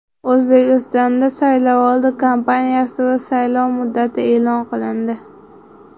O‘zbekistonda saylovoldi kampaniyasi va saylov muddati e’lon qilindi.